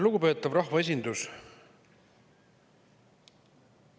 Lugupeetav rahvaesindus!